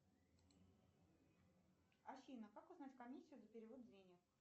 афина как узнать комиссию за перевод денег